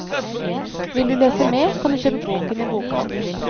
Vil du lese mer, kan du kjøpe boken i bokhandelen.